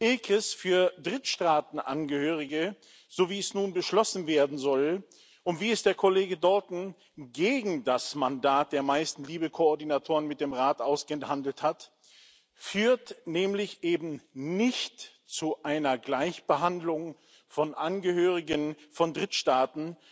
ECRIS für Drittstaatenangehörige, so wie es nun beschlossen werden soll und wie es der Kollege Dalton gegen das Mandat der meisten LIBE Koordinatoren mit dem Rat ausgehandelt hat, führt nämlich eben nicht zu einer Gleichbehandlung von Angehörigen von Drittstaaten,